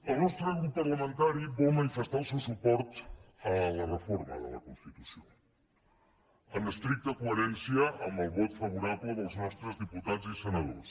el nostre grup parlamentari vol manifestar el seu suport a la reforma de la constitució en estricta coherència amb el vot favorable dels nostres diputats i senadors